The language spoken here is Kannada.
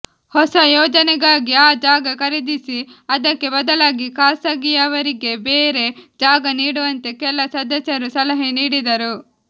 ಹೊಸ ಯೋಜನೆಗಾಗಿ ಆ ಜಾಗ ಖರೀದಿಸಿ ಅದಕ್ಕೆ ಬದಲಾಗಿ ಖಾಸಗಿಯವರಿಗೆ ಬೇರೆ ಜಾಗ ನೀಡುವಂತೆ ಕೆಲ ಸದಸ್ಯರು ಸಲಹೆ ನೀಡಿದರು